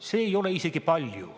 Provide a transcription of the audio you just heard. See ei ole isegi palju.